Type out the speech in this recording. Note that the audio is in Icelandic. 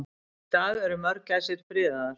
Í dag eru mörgæsir friðaðar.